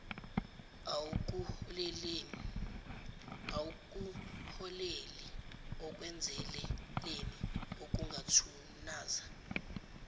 akuholeli ekwenzeleleni okungathunaza